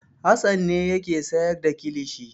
Hassan ne yake sayar da kilishi.